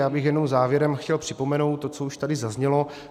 Já bych jenom závěrem chtěl připomenout to, co už tady zaznělo.